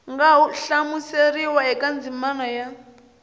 nga hlamuseriwa eka ndzimana ya